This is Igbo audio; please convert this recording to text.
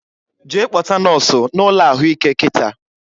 Jee kpọta nọsụ na ụlọ ahụike kịta!